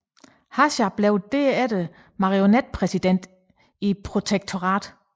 Hácha blev derefter marionetpræsident i protektoratet